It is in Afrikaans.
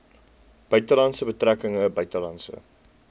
buitelandse betrekkinge buitelandse